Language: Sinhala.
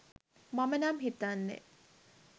මම නම් හිතන්නේ